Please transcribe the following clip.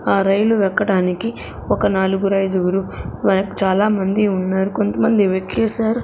ఆ రైలు ఎక్కటానికి ఒక నాలుగు ఐదుగురు వెనక్ చాలామంది ఉన్నారు కొంత మంది వెక్కేసారు.